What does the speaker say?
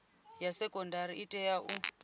ya sekondari i tea u